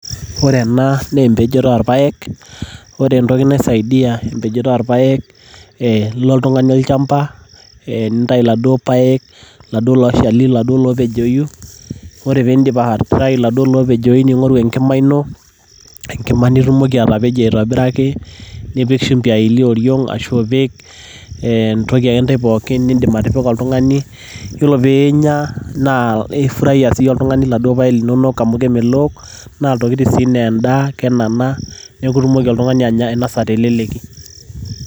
Ore ena naa empejore oorpaek .ore entoki naisaidia empejore oorpaek naa ee ilo oltungani olchamba ee nintayu iladuoo paek iladuo oopejoyu .ore pindip aitayu iladuoo opejoyu ningoru enkima ino enkima nitumoki atapejie aitobiraki nipik shimbi aelie oriong ashu ipik ee entoki ake ntae pooki nindim atipika oltungani .yiolo pinya naa ifurahia sii oltungani inaduoo paek linonok amu kemelook naa ilntokitin sii laa enda kenana niaku itumoki oltungani ainosa teleleki